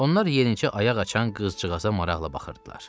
Onlar yenicə ayaq açan qızcığaza maraqla baxırdılar.